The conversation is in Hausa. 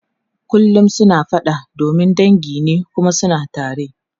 Kullum suna fada domin dangi ne kuma suna tare.